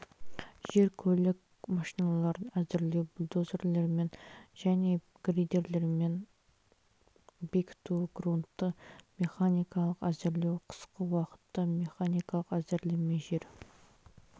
жер көлік машиналарын әзірлеу бульдозерлермен және грейдерлермен бекіту грунтты механикалық әзірлеу қысқы уақытта механикалық әзірлеме жер